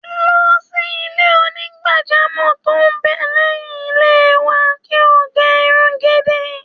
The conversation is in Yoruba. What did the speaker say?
Lọ sí ilé onígbàjamọ̀ tó ń bẹ lẹ́yìn ilé wa, kí o gẹ irun gidi.